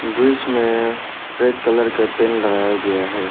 दृश्य में red colour के पेंट लगाया गया है।